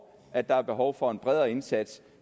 at der er behov for en bredere indsats